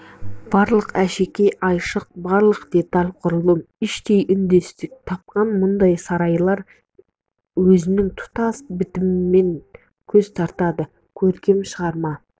барлық әшекей-айшық барлық деталь-құрылым іштей үндестік тапқан мұндай сарайлар өзінің тұтас бітімімен көз тартады көркем шығарма